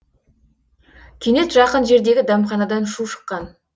кенет жақын жердегі дәмханадан шу шыққан